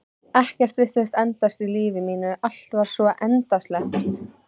Ekkert virtist endast í lífi mínu, allt var svo endasleppt.